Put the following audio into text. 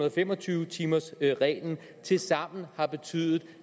og fem og tyve timers reglen tilsammen har betydet